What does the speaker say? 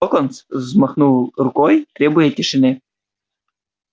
локонс взмахнул рукой требуя тишины